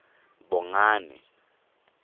bongane